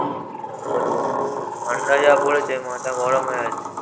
কি আর বলবো? ঠান্ডা যা পড়েছে মাথা গরম হয়ে গেছে।